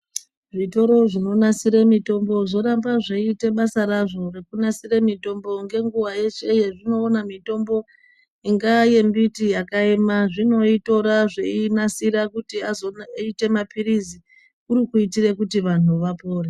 Zvitoro zvinonasire mitombo zvoramba zveite basa razvo rekunasire mitombo ngenguwa yeshe yezvinoona mitombo ingaa yemiti yakaema zvinoitora zveinasira kuti azoite mapilizi kurikuitire kuti vanhu vapore.